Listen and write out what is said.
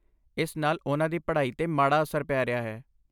ਇਸ ਨਾਲ ਉਨ੍ਹਾਂ ਦੀ ਪੜ੍ਹਾਈ 'ਤੇ ਮਾੜਾ ਅਸਰ ਪੈ ਰਿਹਾ ਹੈ।